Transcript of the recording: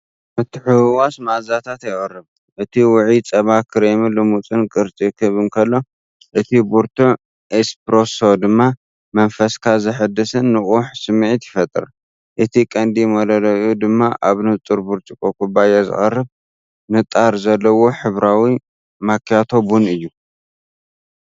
ምትሕውዋስ መኣዛታት የቕርብ፣ እቲ ውዑይ ጸባ ክሬምን ልሙጽን ቅርጺ ክህብ እንከሎ፡ እቲ ብርቱዕ ኤስፕረሶ ድማ መንፈስካ ዘሐድስን ንቑሕን ስምዒት ይፈጥር። እቲ ቀንዲ መለለዪኡ ድማ ኣብ ንጹር ብርጭቆ ኩባያ ዝቐርብ ንጣር ዘለዎ ሕብራዊ ማክያቶ ቡን እዩ።